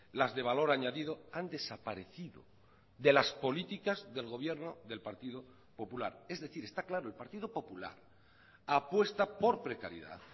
las de valor añadido han desaparecido de las políticas del gobierno del partido popular es decir está claro el partido popular apuesta por precariedad